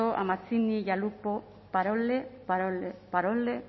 a y a lupo parole parole